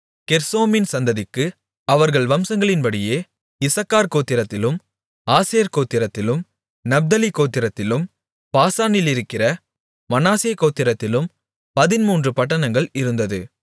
கெர்சோமின் சந்ததிக்கு அவர்கள் வம்சங்களின்படியே இசக்கார் கோத்திரத்திலும் ஆசேர் கோத்திரத்திலும் நப்தலி கோத்திரத்திலும் பாசானிலிருக்கிற மனாசே கோத்திரத்திலும் பதின்மூன்று பட்டணங்கள் இருந்தது